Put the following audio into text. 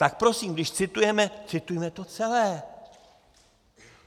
Tak prosím, když citujeme, citujme to celé!